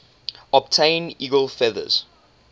obtain eagle feathers